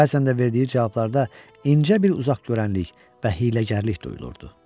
Bəzən də verdiyi cavablarda incə bir uzaqgörənlik və hiyləgərlik duyulurdu.